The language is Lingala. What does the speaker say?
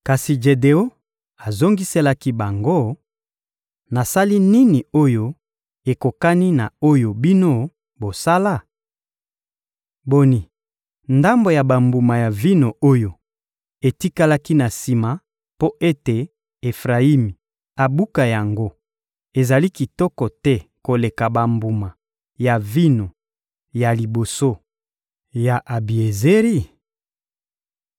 Kasi Jedeon azongiselaki bango: — Nasali nini oyo ekokani na oyo bino bosala? Boni, ndambo ya bambuma ya vino oyo etikalaki na sima mpo ete Efrayimi abuka yango ezali kitoko te koleka bambuma ya vino ya liboso ya Abiezeri?